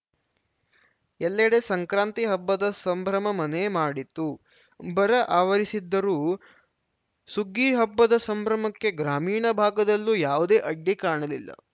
ಎಲ್ಲೆಡೆ ಸಂಕ್ರಾಂತಿ ಹಬ್ಬದ ಸಂಭ್ರಮ ಮನೆ ಮಾಡಿತ್ತು ಬರ ಆವರಿಸಿದ್ದರೂ ಸುಗ್ಗಿ ಹಬ್ಬದ ಸಂಭ್ರಮಕ್ಕೆ ಗ್ರಾಮೀಣ ಭಾಗದಲ್ಲೂ ಯಾವುದೇ ಅಡ್ಡಿ ಕಾಣಲಿಲ್ಲ